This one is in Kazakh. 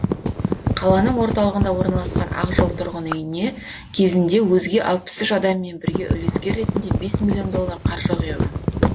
қаланың орталығында орналасқан ақжол тұрғын үйіне кезінде өзге алпыс үш адаммен бірге үлескер ретінде бес миллион доллар қаржы құйған